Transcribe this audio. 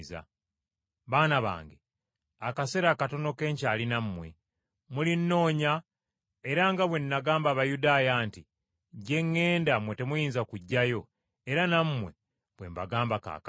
“Baana bange, akaseera katono ke nkyali nammwe. Mulinnoonya era nga bwe nagamba Abayudaaya nti, ‘Gye ŋŋenda mmwe temuyinza kujjayo,’ era nammwe bwe mbagamba kaakano.